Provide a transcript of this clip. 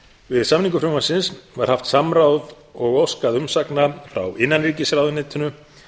við samningu frumvarpsins var haft samráð og óskað umsagna frá innanríkisráðuneytinu